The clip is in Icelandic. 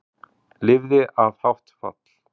Lifði af hátt fall